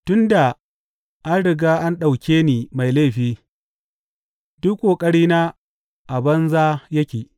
Tun da an riga an ɗauke ni mai laifi, duk ƙoƙarina a banza yake.